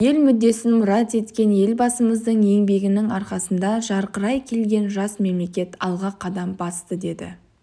ел мүддесін мұрат еткен елбасымыздың еңбегінің арқасында жарқырай келген жас мемлекет алға қадам басты деді